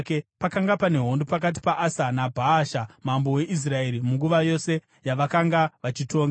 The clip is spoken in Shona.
Pakanga pane hondo pakati paAsa naBhaasha, mambo weIsraeri munguva yose yavakanga vachitonga.